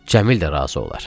Cəmil də razı olar.